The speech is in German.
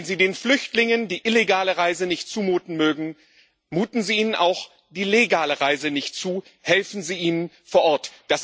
Wenn Sie den Flüchtlingen die illegale Reise nicht zumuten mögen, muten Sie ihnen auch die legale Reise nicht zu, helfen Sie ihnen vor Ort.